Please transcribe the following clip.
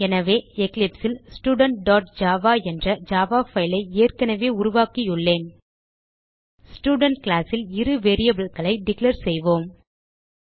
எனவே eclipseல் studentஜாவா என்ற ஜாவா பைல் ஐ ஏற்கனவே உருவாக்கியுள்ளேன் ஸ்டூடென்ட் கிளாஸ் ல் இரு variableகளை டிக்ளேர் செய்வோம்